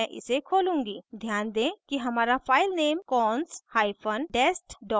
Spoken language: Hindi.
ध्यान दें कि हमारा filename cons hyphen dest dot cpp है